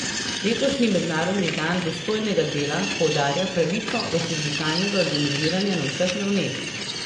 Letošnji mednarodni dan dostojnega dela poudarja pravico do sindikalnega organiziranja na vseh ravneh.